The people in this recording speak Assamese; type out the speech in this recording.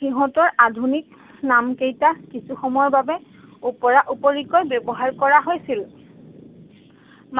সিহঁতৰ আধুনিক নামকেইটা কিছু সময়ৰ বাবে উপৰা উপৰিকৈ ব্যৱহাৰ কৰা হৈছিল।